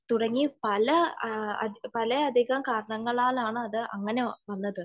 തുടങ്ങി പല അധികം കാരണങ്ങലാണ് അത് അങ്ങനെ വന്നത്